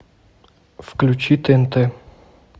включи тнт